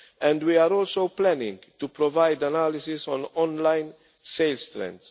And we are also planning to provide analysis on online sales strengths.